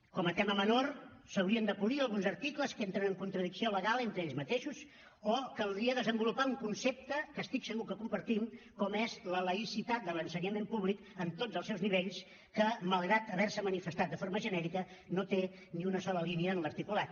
com a tema menor s’haurien de polir alguns articles que entren en contradicció legal entre ells mateixos o caldria desenvolupar un concepte que estic segur que compartim com és la laïcitat de l’ensenyament públic en tots els seus nivells que malgrat haver se manifestat de forma genèrica no té ni una sola línia en l’articulat